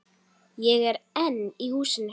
Ég er einn í húsinu.